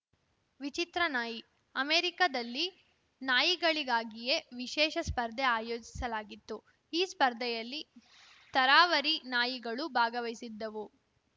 ವಿಚಿತ್ರ ನಾಯಿ ಅಮೆರಿಕಾದಲ್ಲಿ ನಾಯಿಗಳಿಗಾಗಿಯೇ ವಿಶೇಷ ಸ್ಪರ್ಧೆ ಆಯೋಜಿಸಲಾಗಿತ್ತು ಈ ಸ್ಪರ್ಧೆಯಲ್ಲಿ ತರಾವರಿ ನಾಯಿಗಳು ಭಾಗವಹಿಸಿದ್ದವು